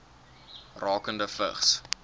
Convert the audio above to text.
rakende vigs